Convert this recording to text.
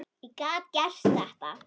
Ég gat gert þetta.